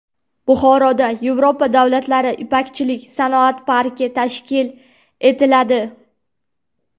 Buxoroda Yevropa davlatlari ipakchilik sanoat parki tashkil etiladi.